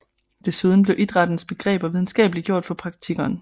Desuden blev idrættens begreber videnskabeliggjort for praktikeren